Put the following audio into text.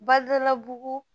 Badalabugu